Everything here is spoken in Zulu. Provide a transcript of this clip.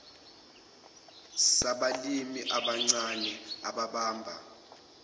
sabalimi abancane ababamba